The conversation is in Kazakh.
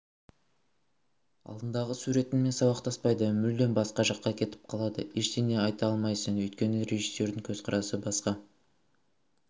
алдындағы суретіңмен сабақтаспайды мүлдем басқа жаққа кетіп қалады ештеңе айта алмайсың өйткені режиссердің көзқарасы басқа